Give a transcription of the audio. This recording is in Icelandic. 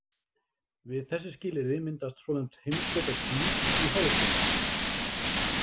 Við þessi skilyrði myndast svonefnd heimskautaský í háloftunum.